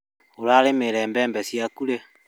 Ũrarĩmĩire mbembe ciaku rĩ?